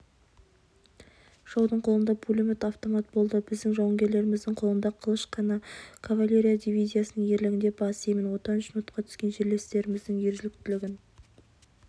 жаудың қолында пулемет автомат болды біздің жауынгерлеріміздің қолында қылыш қана кавалерия дивизиясының ерлігіне бас иемін отан үшін отқа түскен жерлестеріміздің ержүректілігін